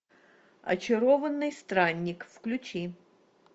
очарованный странник включи